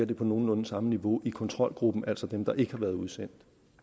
det på nogenlunde samme niveau i kontrolgruppen altså dem der ikke har været udsendt